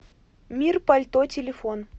мир пальто телефон